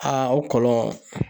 Aa o kɔlɔn